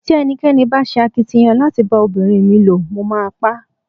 Tí ẹnikẹ́ni bá ṣe akitiyan láti bá ọmọbìnrin mi ló, mo máa pá.